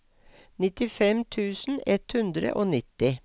nittifem tusen ett hundre og nitti